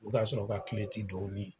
O ka sɔrɔ o ka tɛ don u ni